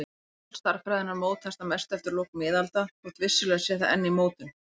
Táknmál stærðfræðinnar mótaðist að mestu eftir lok miðalda þótt vissulega sé það enn í mótun.